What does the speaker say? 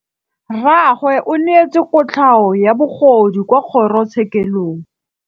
Rragwe o neetswe kotlhaô ya bogodu kwa kgoro tshêkêlông.